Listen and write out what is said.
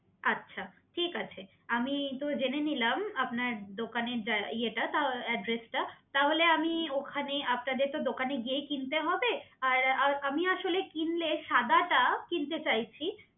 আচ্ছা ঠিক আছে আমি তো জেনে নিলাম আপনার দোকানের জা~ইয়েটা এডড্রেসটা তাহলে আমি ওখানে হুম আপনাদের তো দোকানে গিয়েই কিনতে হবে আর আর আমি আসলে কিনলে সাদাটা কিনতে চাইছি